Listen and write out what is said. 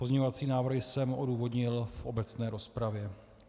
Pozměňovací návrhy jsem odůvodnil v obecné rozpravě.